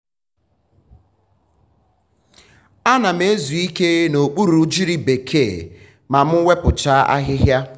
a na m ezu ike n'okpuru ugiri bekee ma m wepụchaa ahịhịa.